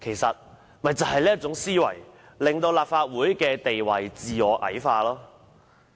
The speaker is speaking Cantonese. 正正就是這種思維，令立法會的地位矮化。